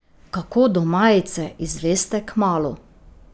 Kako do majice, izveste kmalu.